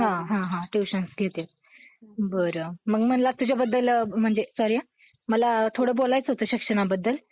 आणि धर्मात बेबंदशाही निर्माण झालेली होती. आता याच्यामध्ये, आपण संत दाखवलेत सगळे महाराष्ट्रातले. याच्यावर काही उपाय असायला हवा. उपायासाठी आपल्याकडे लोकं होते. त उपाय होईलच. त्यात,